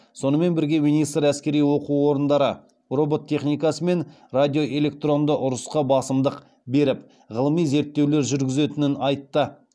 сонымен бірге министр әскери оқу орындары робот техникасы мен радиоэлектронды ұрысқа басымдық беріп ғылыми зерттеулер жүргізетінін айтты